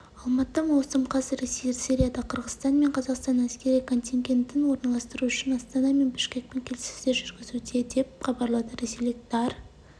алматы маусым қаз ресей сирияда қырғызстан мен қазақстанның әскери контингентін орналастыру үшін астана мен бішкекпен келіссөздер жүргізуде деп хабарлды ресейлік тар